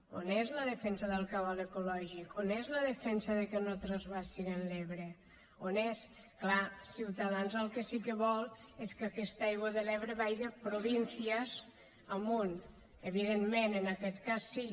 on és la defensa del cabal ecològic on és la defensa de que no transvasen l’ebre on és clar ciutadans el que sí que vol és que aquesta aigua de l’ebre vage provincias amunt evidentment en aquest cas sí